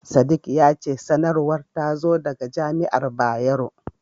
Sadik ya ce sanarwar ta zo daga jami'ar Bayero.